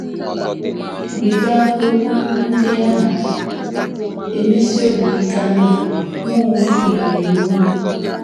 Rịba okwu ndị a na - emesi obi ike ama: “ Mụ onwe m nọnyeere unu. ”